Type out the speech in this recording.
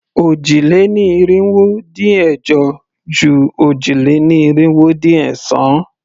Òjì-lé-ní-irinwó-dín-ẹ̀jọ ju òjì-lé-ní-irinwó-dín-ẹ̀sán.